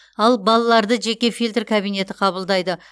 ал балаларды жеке фильтр кабинеті қабылдайды